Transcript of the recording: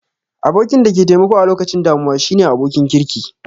Abokin da ke taimako a lokacin damuwa shine abokin kirki